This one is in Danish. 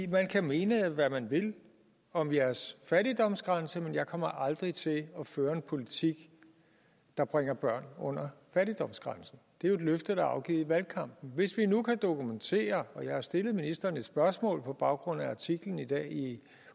man kan mene hvad man vil om jeres fattigdomsgrænse men jeg kommer aldrig til at føre en politik der bringer børn under fattigdomsgrænsen det er jo et løfte der er afgivet i valgkampen hvis vi nu kan dokumentere og jeg har stillet ministeren et spørgsmål på baggrund af artiklen i dag i